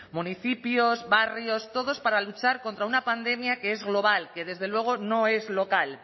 municipios barrios todos para luchar contra una pandemia que es global que desde luego no es local